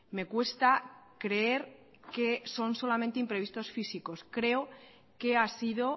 me cuesta creer que son solamente imprevistos físicos creo que ha sido